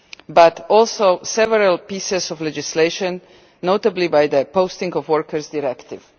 but also several pieces of legislation, notably the Posting of Workers directive.